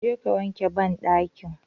Je ka wanke banɗakin